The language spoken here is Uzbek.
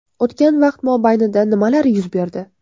O‘tgan vaqt mobaynida nimalar yuz berdi?